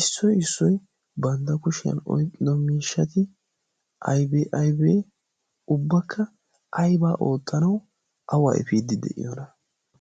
issoi issoi bandda kushiyan oyqdomiishati ayba ayba ubbakka aybaa ooxxanau awaifiidi de'iyoona?